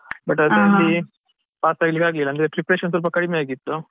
But ಅದ್ರಲ್ಲಿ pass ಆಗ್ಲಿಕ್ಕೆ ಆಗ್ಲಿಲ್ಲ ಅಂದ್ರೆ preparation ಸ್ವಲ್ಪ ಕಡಿಮೆಯಾಗಿತ್ತು.